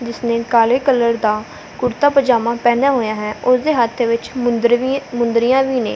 ਜਿਸਨੇ ਕਾਲੇ ਕਲਰ ਦਾ ਕੁੜਤਾ ਪਜਾਮਾ ਪਹਿਨਿਆ ਹੋਇਆ ਹੈ ਉਸ ਦੇ ਹੱਥ ਵਿੱਚ ਮੁੰਦਰੀਏ ਮੁੰਦਰੀਆਂ ਵੀ ਨੇ।